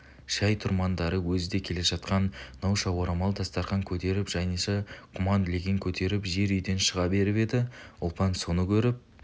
шай тұрмандары өзі де келе жатқан науша орамал дастарқан көтеріп жаниша құман леген көтеріп жер үйден шыға беріп еді ұлпан соны көріп